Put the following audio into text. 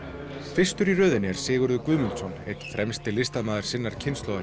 fyrstur í röðinni er Sigurður Guðmundsson einn fremsti listamaður sinnar kynslóðar